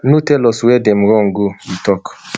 no tell us wia dem run go e tok